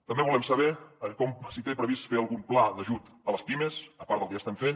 també volem saber si té previst fer algun pla d’ajut a les pimes a part del que ja estem fent